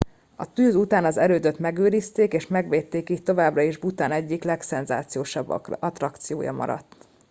a tűz után az erődöt megőrizték és megvédték így továbbra is bhután egyik legszenzációsabb attrakciója maradt